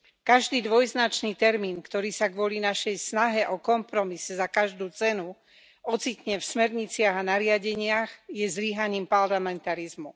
Každý dvojznačný termín, ktorý sa kvôli našej snahe o kompromis za každú cenu ocitne v smerniciach a nariadeniach, je zlyhaním parlamentarizmu.